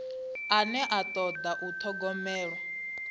ane a toda u thogomelwa